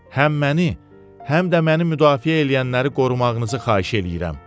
Həm məni, həm də məni müdafiə eləyənləri qorumağınızı xahiş eləyirəm.